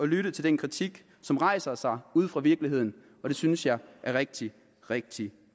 lytte til den kritik som rejser sig ude fra virkeligheden det synes jeg er rigtig rigtig